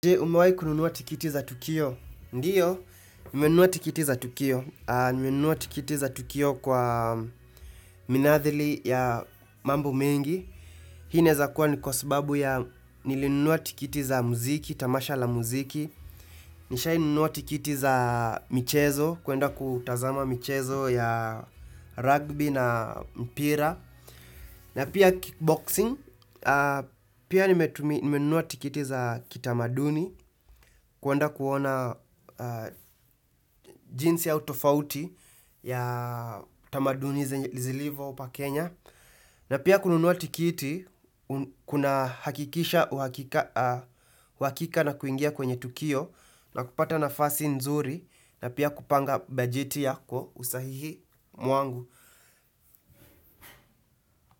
Umewahi kununua tikiti za tukio? Ndiyo, nimenunua tikiti za tukio. Nimenua tikiti za tukio kwa minadhili ya mambo mengi. Hii inaweza kuwa ni kwa sababu ya nilinunua tikiti za muziki, tamasha la muziki. Nimekwishawahi kununua tikiti za michezo, kwenda kutazama michezo ya rugby na mpira. Na pia kickboxing, pia nimenua tikiti za kitamaduni. Kwenda kuona jinsi au tofauti ya tamaduni zilivyo hapa Kenya. Na pia kununua tikiti kuna hakikisha uhakika na kuingia kwenye tukio. Na kupata nafasi nzuri na pia kupanga bajeti yako usahihi mwangu.